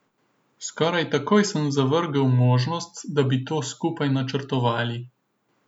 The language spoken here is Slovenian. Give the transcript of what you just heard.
Skoraj takoj sem zavrgel možnost, da bi to skupaj načrtovali.